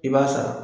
I b'a sara